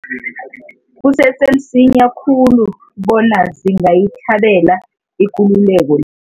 Kusese msinya khulu bona singayithabela ikululeko